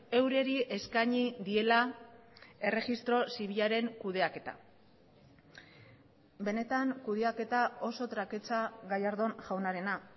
eurei eskaini diela erregistro zibilaren kudeaketa benetan kudeaketa oso traketsa gallardón jaunarena